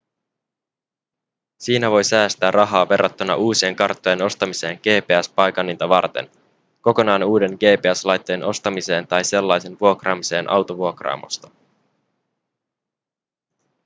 siinä voi säästää rahaa verrattuna uusien karttojen ostamiseen gps-paikanninta varten kokonaan uuden gps-laitteen ostamiseen tai sellaisen vuokraamiseen autovuokraamosta